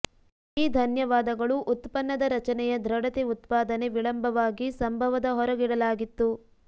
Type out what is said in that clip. ಈ ಧನ್ಯವಾದಗಳು ಉತ್ಪನ್ನದ ರಚನೆಯ ದೃಢತೆ ಉತ್ಪಾದನೆ ವಿಳಂಬವಾಗಿ ಸಂಭವದ ಹೊರಗಿಡಲಾಗಿತ್ತು